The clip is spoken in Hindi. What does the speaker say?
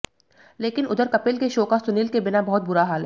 लेकिन उधर कपिल के शो का सुनील के बिना बहुत बुरा हाल है